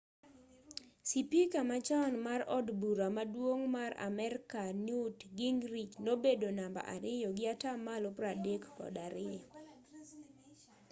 sipika machon mar od bura maduong' mar amerka newt gingrich nobedo namba ariyo gi atamalo 32